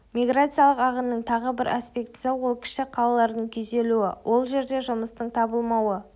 миграциялық ағынның тағы бір аспектісі ол кіші қалалардың күйзелуі ол жерде жұмыстың табылмауы